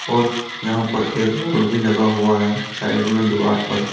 और यहां पर एक बोर्ड भी लगा हुआ है साइड में दीवार पर।